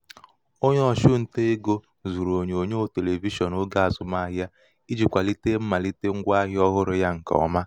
onye ọ̀chụntaegō zụ̀rụ̀ ònyonyòo televishịọn ogē àzụmahịa ijī kwàlite mmàlite ṅgwā ahịa ọhụrụ ya ṅ̀kè ọma